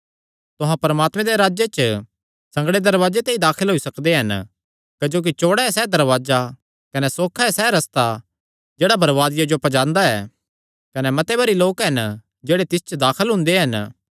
तुहां परमात्मे दे राज्जे च संगड़े दरवाजे ते ई दाखल होई सकदे हन क्जोकि चौड़ा ऐ सैह़ दरवाजा कने सौखा ऐ सैह़ रस्ता जेह्ड़ा बरबादिया जो पज्जांदा ऐ कने मते भरी लोक हन जेह्ड़े तिस च दाखल हुंदे हन